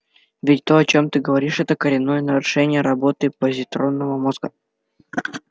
ведь то о чём ты говоришь это коренное нарушение работы позитронного мозга